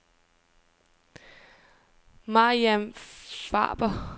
Mariam Faber